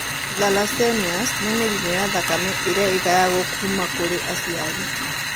Thalassemias nĩ mĩrimũ ya thakame ĩrĩa ĩgayagwo kuuma kũrĩ aciari.